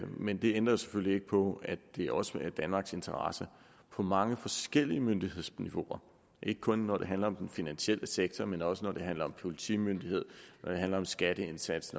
men det ændrer selvfølgelig ikke på at det også er i danmarks interesse på mange forskellige myndighedsniveauer ikke kun når det handler om den finansielle sektor men også når det handler om politimyndighed skatteindsats